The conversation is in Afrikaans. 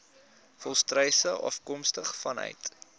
volstruise afkomstig vanuit